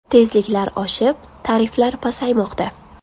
Tezliklar oshib tariflar pasaymoqda.